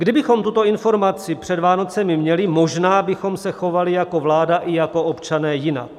Kdybychom tuto informaci před Vánocemi měli, možná bychom se chovali jako vláda i jako občané jinak.